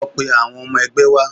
Lọ pe awon ọmọ ẹgbẹ́ wá!